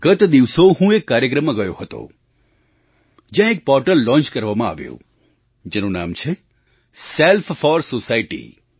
ગત દિવસો હું એક કાર્યક્રમમાં ગયો હતો જ્યાં એક પૉર્ટલ લૉન્ચ કરવામાં આવ્યું જેનું નામ છે સેલ્ફ 4 સોસાયટી